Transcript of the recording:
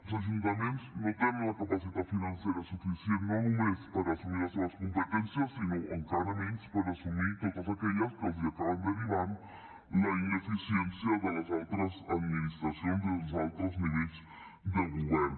els ajuntaments no tenen la capacitat financera suficient no només per assumir les seves competències sinó encara menys per assumir totes aquelles que els acaben derivant la ineficiència de les altres administracions i els altres nivells de govern